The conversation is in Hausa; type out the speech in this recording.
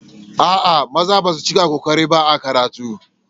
A'a, maza basu cika ƙoƙari ba a karatu.